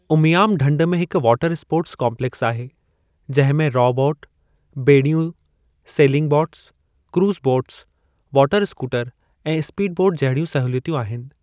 उमियाम ढंढ में हिक वॉटर स्पोर्टस काम्प्लेक्स आहे, जंहिं में रॉ बॉट, ॿेड़ियूं, sailing boats, cruise boats, water scooter ऐं स्पीडबोट जहिड़ियूं सहुलियतूं आहिनि।